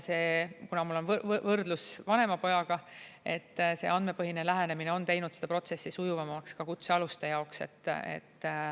Kuna mul on võrdlus vanema pojaga, see andmepõhine lähenemine on teinud protsessi sujuvamaks ka kutsealuste jaoks.